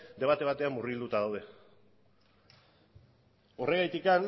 debate batean murgilduta daude horregatik